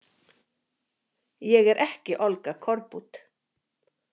Ég er ekki Olga Korbut.